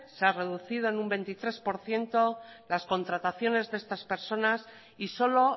se ha reducido en un veintitrés por ciento las contrataciones de estas personas y solo